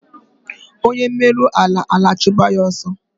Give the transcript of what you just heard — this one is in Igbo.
Onye mero ala, ala achụba ya asọ